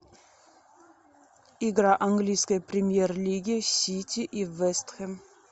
игра английской премьер лиги сити и вест хэм